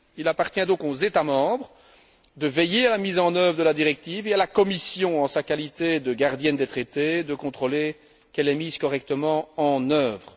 Il appartient donc aux États membres de veiller à la mise en œuvre de la directive et à la Commission, en sa qualité de gardienne des traités, de contrôler qu'elle est correctement mise en œuvre.